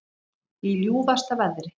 Í ljúfasta veðri